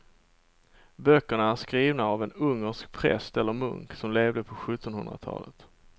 Böckerna är skrivna av en ungersk präst eller munk som levde på sjuttonhundratalet.